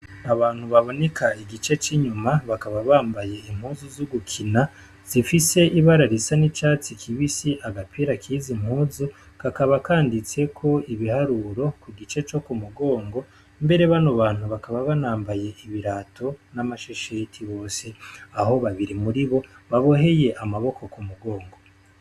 Abantu baboneka igice c'inyuma bakaba bambaye impuzu z'ugukina zifise ibararisa n'icatsi kibisi agapira kiza impuzu gakaba kanditseko ibiharuro ku gice co ku mugongo mbere bano bantu bakaba banambaye ibirato n'amashesheti bose aho babiri muri bo baboe heye amaboko ku mugongo.